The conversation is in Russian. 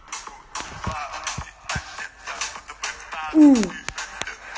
у